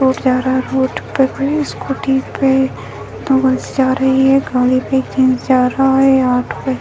road जा रहा है रोड पे कोई स्कूटी पे दो गर्ल्स जा रही है | एक गाड़ी पे एक जेंट्स जा रहा है | ऑटो पे --